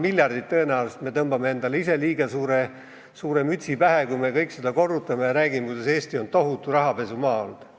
Nii et tõenäoliselt me tõmbame endale ise liiga suure mütsi pähe, kui me kõik korrutame seda 200 miljardit ja räägime, kuidas Eesti on tohutu rahapesumaa olnud.